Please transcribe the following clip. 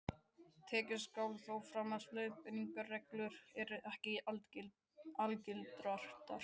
Tekið skal þó fram að þessar leiðbeiningarreglur eru ekki algildar.